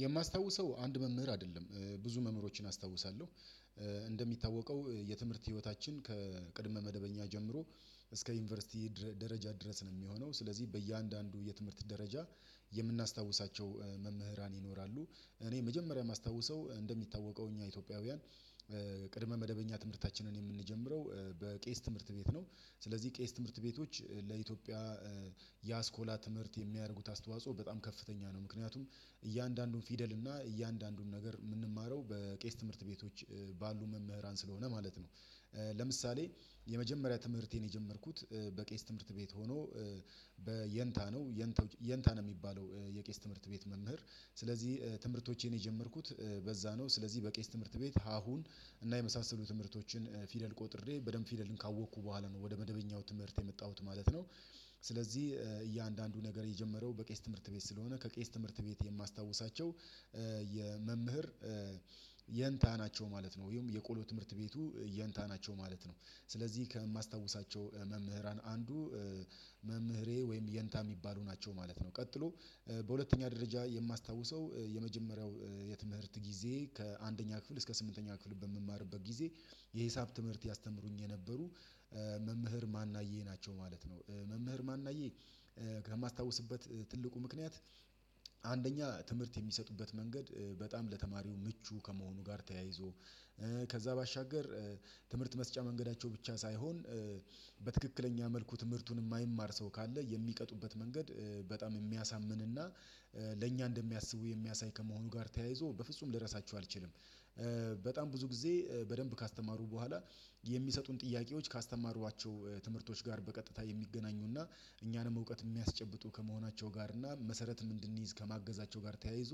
የማስታውሰው አንድ መምህር አይደለም ብዙ መምህሮችን አስታውሳለሁ። እንደሚታወቀው የትምህርት ህይወታችን ከቅድመ መደበኛ ጀምሮ እስከ ዩኒቨርሲቲ ደረጃ ድረስ ነው የሚሆነው ስለዚህ በእያንዳንዱ የትምህርት ደረጃ የምናስታውሳቸው መምህራን ይኖራሉ። እኔ መጀመሪያ የማስታውሰው እንደሚታወቀው እኛ ኢትዮጵያውያን ቅድመ መደበኛ ትምህርታችንን የምንጀምረው በቄስ ትምህርት ቤት ነው። ስለዚህ ቄስ ትምህርት ቤቶች ለኢትዮጵያ የአስኮላ ትምህርት የሚያደርጉት አስተዋጽኦ በጣም ከፍተኛ ነው። ምክንያቱም እያንዳንዱን ፊደል እና እያንዳንዱን ነገር ምንማረው በቄስ ትምህርት ቤቶች ባሉ መምህራን ስለሆነ ማለት ነው። ለምሳሌ የመጀመሪያ ትምህርቴን የጀመርኩት በቄስ ትምህርት ቤት ሆኖ በየንታ ነው የንታ የንታ ነው የሚባለው የቄስ ትምህርት ቤት መምህር ስለዚህ ትምህርቶቼን የጀመርኩት በዛ ነው። ስለዚህ በቄስ ትምህርት ቤት ሀሁን እና የመሳሰሉ ትምህርቶችን ፊደል ቆጥሬ በደንብ ፊደልን ካወቅኩ በኋላ ነው ወደ መደበኛው ትምህርት የመጣሁት ማለት ነው። ስለዚህ እያንዳንዱ ነገር የጀመረው በቄስ ትምህርት ቤት ስለሆነ ከቄስ ትምህርት ቤት የማስታውሳቸው የመምህር የንታ ናቸው ማለት ነው። ወይም የቆሎ ትምህርት ቤቱ የንታ ናቸው ማለት ነው። ስለዚህ ከማስታውሳቸው መምህራን አንዱ መምህሬ ወይም የንታ የሚባሉ ናቸው ማለት ነው። ቀጥሎ በሁለተኛ ደረጃ የማስታውሰው የመጀመሪያው የትምህርት ጊዜዬ ከአንደኛ ክፍል እስከ ስምንተኛ ክፍል በምማርበት ጊዜ የሂሳብ ትምህርት ያስተምሩኝ የነበሩ መምህር ማናዬ ናቸው ማለት ነው። መምህር ማናዬ ከማስታውስበት ትልቁ ምክንያት አንደኛ ትምህርት የሚሰጡበት መንገድ በጣም ለተማሪው ምቹ ከመሆኑ ጋር ተያይዞ ከዛ ባሻገር ትምህርት መስጫ መንገዳቸው ብቻ ሳይሆን በትክክለኛ መልኩ ትምህርቱን ማይማር ሰው ካለ የሚቀጡበት መንገድ በጣም የሚያሳምንና ለእኛ እንደሚያስቡ የሚያሳይ ከመሆኑ ጋር ተያይዞ በፍጹም ልረሳችሁ አልችልም። በጣም ብዙ ጊዜ በደንብ ካስተማሩ በኋላ የሚሰጡን ጥያቄዎች ካስተማሯቸው ትምህርቶች ጋር በቀጥታ የሚገናኙና እኛንም እውቀት የሚያስጨብጡ ከመሆናቸው ጋር እና መሰረትም እንድንይዝ ከማገዛቸው ጋር ተያይዞ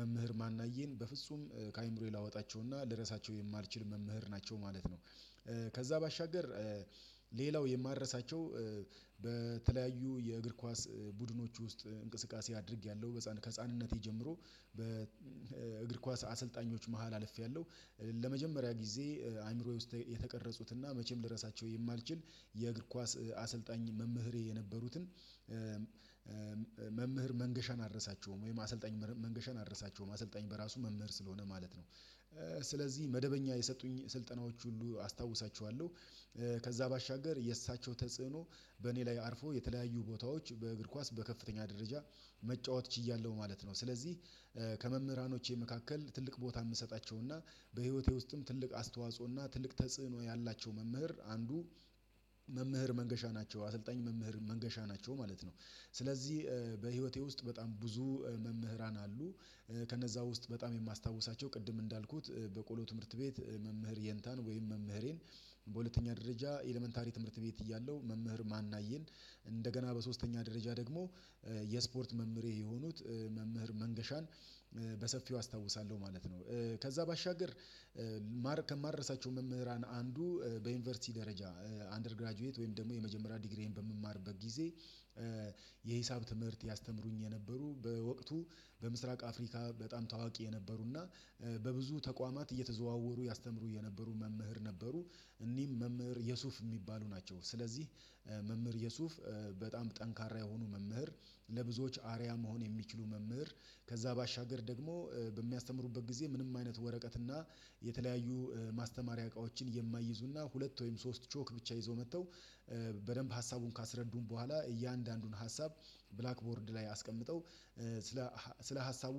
መምህር ማናዬን በፍጹም ከአይምሮዬ ላወጣቸውና ልረሳቸው የማልችል መምህር ናቸው ማለት ነው። ከዛ ባሻገር ሌላው የማረሳቸው በተለያዩ የእግር ኳስ ቡድኖች ውስጥ እንቅስቃሴ አድርጌያለሁ በህፃን ከህፃንነቴ ጀምሮ በእግር ኳስ አሰልጣኞች መሃል አልፌያለሁ። ለመጀመሪያ ጊዜ አእምሮዬ ውስጥ የተቀረጹትና መቼም ልረሳቸው የማልችል የእግር ኳስ አሰልጣኝ መምህሬ የነበሩትን መምህር መንገሻን አደርሳቸውም ወይም አሰልጣኝ መንገሻን አደርሳቸውም አሰልጣኝ በራሱ መምህር ስለሆነ ማለት ነው። ስለዚህ መደበኛ የሰጡኝ ስልጠናዎች ሁሉ አስታውሳችኋለሁ። ከዛ ባሻገር የእሳቸው ተጽዕኖ በእኔ ላይ አርፎ የተለያዩ ቦታዎች በእግር ኳስ በከፍተኛ ደረጃ መጫወት ችያለሁ ማለት ነው። ስለዚህ ከመምህራኖቼ መካከል ትልቅ ቦታ የምሰጣቸውና በህይወቴ ውስጥም ትልቅ አስተዋጽኦና ትልቅ ተጽዕኖ ያላቸው መምህር አንዱ መምህር መንገሻ ናቸው አሰልጣኝ መምህር መንገሻ ናቸው ማለት ነው። ስለዚህ በህይወቴ ውስጥ በጣም ብዙ መምህራን አሉ። ከነዛ ውስጥ በጣም የማስታውሳቸው ቅድም እንዳልኩት በቆሎ ትምህርት ቤት መምህር የንታን ወይም መምህሬን በሁለተኛ ደረጃ ኤለመንታሪ ትምህርት ቤት እያለሁ መምህር ማናዬን እንደገና በሶስተኛ ደረጃ ደግሞ የስፖርት መምህሬ የሆኑት መምህር መንገሻን አስታውሳለሁ ማለት ነው። ከዛ ባሻገር ከማረሳቸው መምህራን አንዱ በዩኒቨርሲቲ ደረጃ አንደርግራጁዌት ወይም ደግሞ የመጀመሪያ ዲግሪዬን በምማርበት ጊዜ የሂሳብ ትምህርት ያስተምሩኝ የነበሩ በወቅቱ በምስራቅ አፍሪካ በጣም ታዋቂ የነበሩና በብዙ ተቋማት እየተዘዋወሩ ያስተምሩ የነበሩ መምህር ነበሩ። እኒህም መምህር የሱፍ ሚባሉ ናቸው። ስለዚህ መምህር የሱፍ በጣም ጠንካራ የሆኑ መምህር ለብዙዎች አርያ መሆን የሚችሉ መምህር ከዛ ባሻገር ደግሞ በሚያስተምሩበት ጊዜ ምንም አይነት ወረቀትና የተለያዩ ማስተማሪያ እቃዎችን የማይይዙና ሁለት ወይም ሶስት ቾክ ብቻ ይዞ መጥተው በደንብ ሀሳቡን ካስረዱን በኋላ እያንዳንዱን ሀሳብ ብላክ ቦርድ ላይ አስቀምጠው ስለ ስለ ሀሳቡ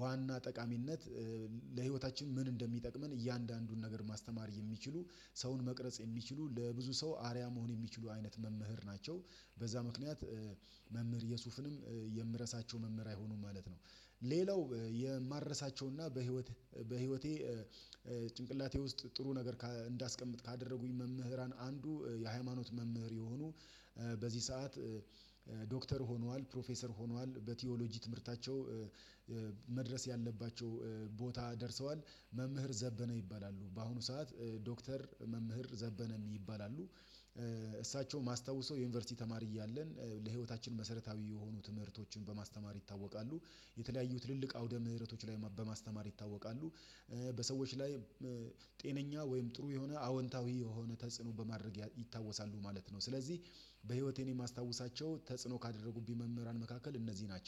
ዋና ጠቃሚነት ለህይወታችን ምን እንደሚጠቅመን እያንዳንዱን ነገር ማስተማር የሚችሉ ሰውን መቅረጽ የሚችሉ ለብዙ ሰው አርያ መሆን የሚችሉ አይነት መምህር ናቸው። በዛ ምክንያት መምህር የሱፍንም የምረሳቸው መምህር አይሆኑም ማለት ነው። ሌላው የማረሳቸውና በህይወት በህይወቴ ጭንቅላቴ ውስጥ ጥሩ ነገር እንዳስቀምጥ ካደረጉኝ መምህራን አንዱ የሃይማኖት መምህር የሆኑ በዚህ ሰዓት ዶክተር ሆነዋል ፕሮፌሰር ሆነዋል በቲዎሎጂ ትምህርታቸው መድረስ ያለባቸው ቦታ ደርሰዋል። መምህር ዘበነ ይባላሉ በአሁኑ ሰዓት ዶክተር መምህር ዘበነ ይባላሉ። እሳቸው ማስታውሰው የዩኒቨርሲቲ ተማሪ እያለን ለህይወታችን መሰረታዊ የሆኑ ትምህርቶችን በማስተማር ይታወቃሉ። የተለያዩ ትልልቅ አውደ ምህረቶች ላይ በማስተማር ይታወቃሉ። በሰዎች ላይ ጤነኛ ወይም ጥሩ የሆነ አዎንታዊ የሆነ ተጽዕኖ በማድረግ ይታወሳሉ ማለት ነው። ስለዚህ በህይወቴ እኔ እማስታውሳቸው ተጽዕኖ ካደረጉብኝ መምህራን መካከል እነዚህ ናቸው